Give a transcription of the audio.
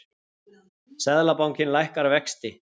Seðlabankinn lækkar vexti